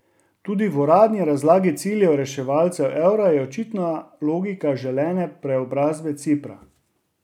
Tudi v uradni razlagi ciljev reševalcev evra je očitna logika želene preobrazbe Cipra.